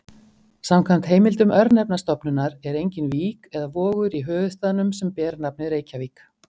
Samkvæmt heimildum Örnefnastofnunar er engin vík eða vogur í höfuðstaðnum sem ber nafnið Reykjavík.